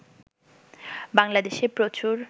বাংলাদেশে প্রচুর